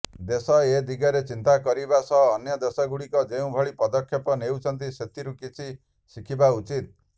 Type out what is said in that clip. ଦେଶ ଏ ଦିଗରେ ଚିନ୍ତା କରିବା ସହ ଅନ୍ୟ ଦେଶଗୁଡ଼ିକ ଯେଉଁଭଳି ପଦକ୍ଷେପ ନେଉଛନ୍ତି ସେଥିରୁ କିଛି ଶିଖିବା ଉଚିତ